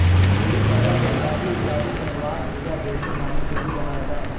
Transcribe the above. गुड़ी पड़वा को उगादियुगादिपनवार पूजा जैसे नामों से भी जाना जाता हैं